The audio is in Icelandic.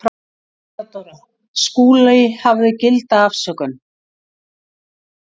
THEODÓRA: Skúli hafði gilda afsökun.